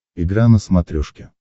игра на смотрешке